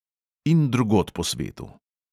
In drugod po svetu.